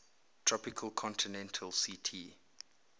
tropical continental ct